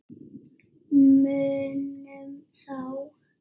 Munum þá.